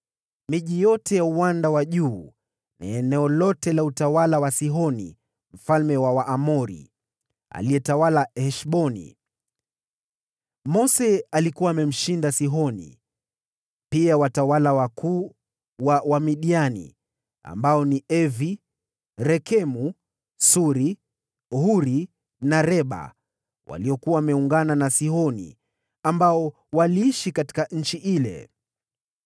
miji yote ya uwanda wa juu na eneo lote la utawala wa Sihoni mfalme wa Waamori, aliyetawala katika Heshboni. Mose alikuwa amemshinda Sihoni, pia watawala wakuu wa Wamidiani, ambao ni Evi, Rekemu, Suri, Huri na Reba, waliokuwa wameungana na Sihoni, ambao waliishi katika nchi ile.